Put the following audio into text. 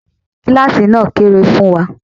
Kíláàsì náà kéré fún wa.